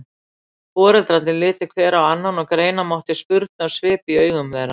Foreldrarnir litu hver á annan og greina mátti spurnarsvip í augum þeirra.